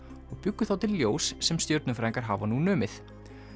og bjuggu þá til ljós sem stjörnufræðingar hafa nú numið